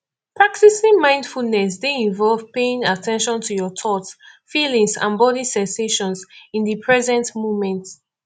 practicing mindfulness dey involve paying at ten tion to your thoughts feelings and body sensations in di present moment